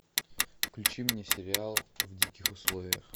включи мне сериал в диких условиях